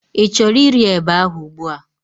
I chọrọ iri eba ahụ ugbua?